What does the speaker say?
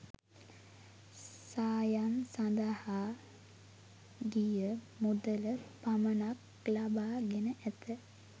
සායම් සඳහා ගිය මුදල පමණක් ලබා ගෙන ඇත.